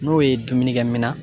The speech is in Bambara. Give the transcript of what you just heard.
N'o ye dumunikɛ minan